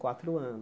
Quatro